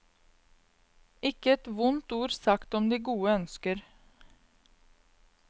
Ikke ett vondt ord sagt om de gode ønsker.